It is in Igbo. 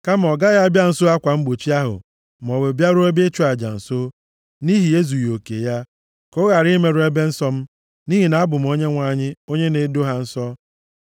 Kama ọ gaghị abịa nso akwa mgbochi ahụ maọbụ bịaruo ebe ịchụ aja nso, nʼihi ezughị oke ya. Ka ọ ghara imerụ ebe nsọ m, nʼihi na abụ m Onyenwe anyị onye na-edo ha nsọ.’ ”